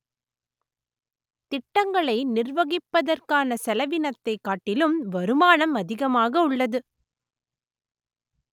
திட்டங்களை நிர்வகிப்பதற்கான செலவினத்தை காட்டிலும் வருமானம் அதிகமாக உள்ளது